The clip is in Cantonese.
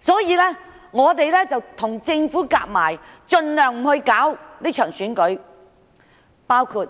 所以便與政府合謀，盡量阻礙這場選舉舉行。